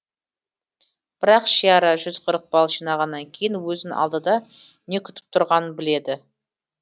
бірақ шиара жүз қырық балл жинағаннан кейін өзін алдыда не күтіп тұрғанын біледі